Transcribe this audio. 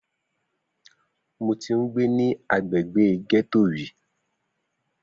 Mo ti ń gbé ní agbègbè ghetto rí.